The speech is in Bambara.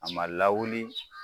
A man lawuli